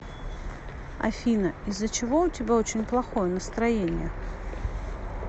афина из за чего у тебя очень плохое настроение